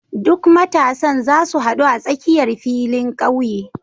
Duk matasan zasu hadu a tsakiyar filin ƙauye.